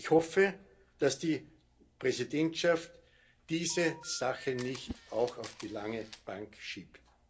Ich hoffe, dass die Präsidentschaft diese Sache nicht auch auf die lange Bank schiebt.